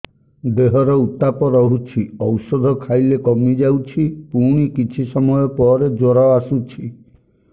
ଦେହର ଉତ୍ତାପ ରହୁଛି ଔଷଧ ଖାଇଲେ କମିଯାଉଛି ପୁଣି କିଛି ସମୟ ପରେ ଜ୍ୱର ଆସୁଛି